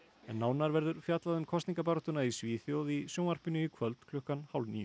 nánar verður fjallað um kosningabaráttuna í Svíþjóð í sjónvarpinu í kvöld klukkan hálf níu